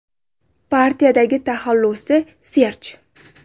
Partiyadagi taxallusi – Serj.